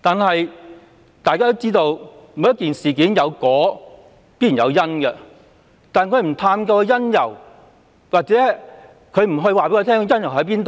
但大家都知道，每件事有果自必然有因，行政機關不探究或不告知當中的因由便